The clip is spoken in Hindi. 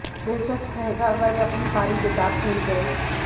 दिलचस्प रहेगा अगर वे अपनी पारी बेदाग खेल गए